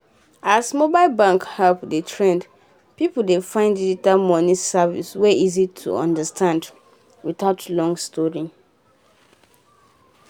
as mobile banking apps dey trend people dey find digital money service wey easy to understand without long story.